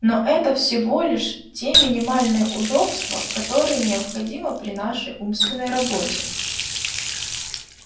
но это всего лишь те минимальные удобства которые необходимы при нашей умственной работе